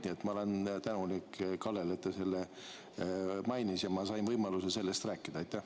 Nii et ma olen tänulik Kallele, et ta seda mainis ja ma sain võimaluse sellest rääkida.